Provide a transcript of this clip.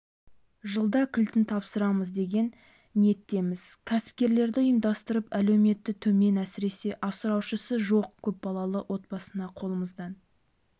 жылда кілтін тапсырамыз деген ниеттеміз кәсіпкерлерді ұйымдастырып әлеуметі төмен әсіресе асыраушысы жоқ көпбалалы отбасына қолымыздан